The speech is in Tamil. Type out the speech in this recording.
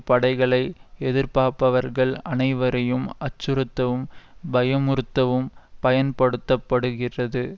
படைகளை எதிர்பாப்பவர்கள் அனைவரையும் அச்சுறுத்தவும் பயமுறுத்தவும் பயன்படுத்த பட்டிருக்கிறது